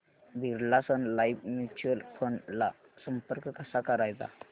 Birla Sun Life mutual fund ला संपर्क कसा करायचा